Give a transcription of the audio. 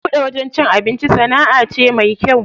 Buɗe wajen cin abinci sanaʼa ce mai kyau.